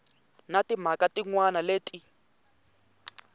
na timhaka tin wana leti